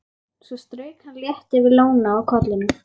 Svo strauk hann létt yfir lóna á kollinum.